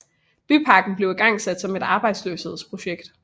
Byparken blev igangsat som et arbejdsløshedsprojekt